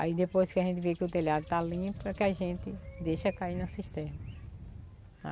Aí depois que a gente vê que o telhado está limpo, é que a gente deixa cair na cisterna.